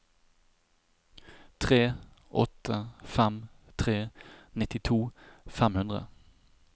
tre åtte fem tre nittito fem hundre